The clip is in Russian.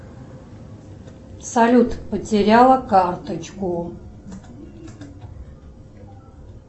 салют потеряла карточку